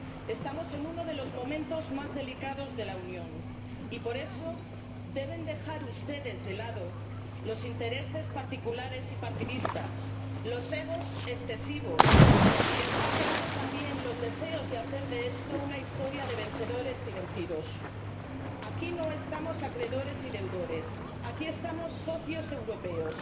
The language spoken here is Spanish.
Estamos en uno de los momentos más delicados de la Unión y, por eso, deben dejar ustedes de lado los intereses particulares y partidistas, los egos excesivos, y dejar de lado, también, los deseos de hacer de esto una historia de vencedores y vencidos. Aquí no estamos acreedores y deudores, aquí estamos socios europeos.